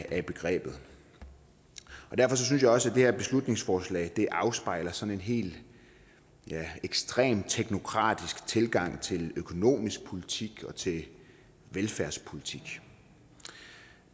af begrebet derfor synes jeg også at det her beslutningsforslag afspejler sådan en helt ekstremt teknokratisk tilgang til økonomisk politik og til velfærdspolitik